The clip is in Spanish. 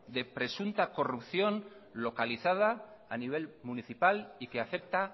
de presunta corrupción localizada a nivel municipal y que afecta